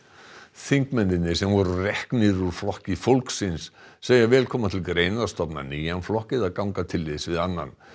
þingmennirnir sem voru reknir úr Flokki fólksins segja vel koma til greina að stofna nýjan flokk eða ganga til liðs við annan